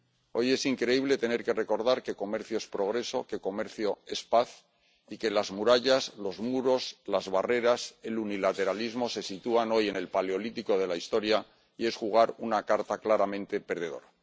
Hoy resulta increíble tener que recordar que comercio es progreso, que comercio es paz, y que las murallas, los muros, las barreras, el unilateralismo se sitúan hoy en el paleolítico de la historia y suponen jugar una carta claramente perdedora.